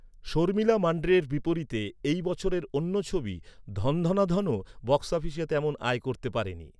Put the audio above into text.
শর্মিলা মান্ড্রে’র বিপরীতে এই বছরের অন্য ছবি ‘ধন ধনা ধন’ ও বক্স অফিসে তেমন আয় করতে পারেনি।